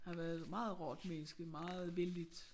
Har været meget rart menneske meget vellidt